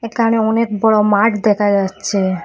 একানে অনেক বড় মাঠ দেখা যাচ্ছে।